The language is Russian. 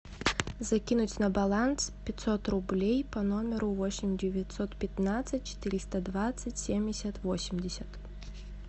закинуть на баланс пятьсот рублей по номеру восемь девятьсот пятнадцать четыреста двадцать семьдесят восемьдесят